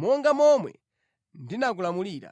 monga momwe ndinakulamulira.